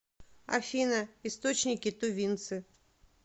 афина источники тувинцы